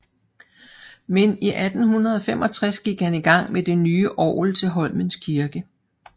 Men i 1865 gik han i gang med det nye orgel til Holmens Kirke